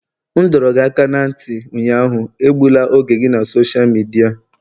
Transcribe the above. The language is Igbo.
M dọrọ gị aka ná ntị ụnyaahụ, egbula oge gị na sosha midia!